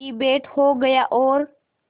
की भेंट हो गया और